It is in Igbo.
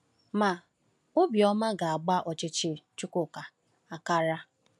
Ma, obi ọma ga-agba ọchịchị Chukwuka akara!